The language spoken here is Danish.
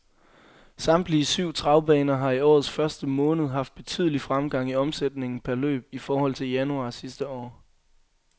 Samtlige syv travbaner har i årets første måned haft betydelig fremgang i omsætningen per løb i forhold til januar sidste år.